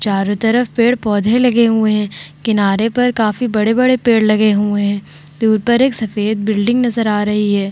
चारो तरफ पेड़-पौधे लगे हुए है किनारे पर काफी बड़े-बड़े पेड़ लगे हुए है दूर पर एक सफ़ेद बिल्डिंग नजर आ रही है ।